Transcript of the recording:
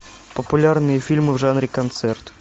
популярные фильмы в жанре концерт